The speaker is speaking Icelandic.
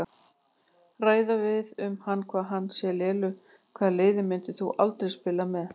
Ræða við um hann hvað hann sé lélegur Hvaða liði myndir þú aldrei spila með?